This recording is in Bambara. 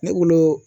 Ne wolo